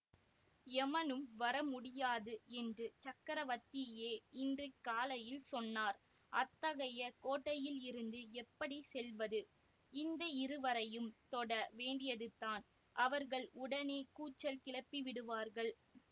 யமனும் வரமுடியாது என்று சக்கரவர்த்தியே இன்று காலையில் சொன்னார்அத்தகைய கோட்டையிலிருந்து எப்படி செல்வது இந்த இருவரையும் தொட வேண்டியதுதான் அவர்கள் உடனே கூச்சல் கிளப்பிவிடுவார்கள்